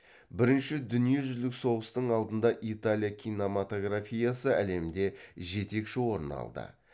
бірінші дүниежүзілік соғыстың алдында италия кинематографиясы әлемде жетекші орын алды